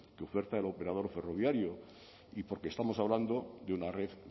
que oferta el operador ferroviario y porque estamos hablando de una red